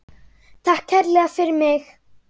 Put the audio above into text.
Takk kærlega fyrir mig.